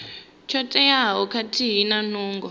tsho teaho khathihi na nungo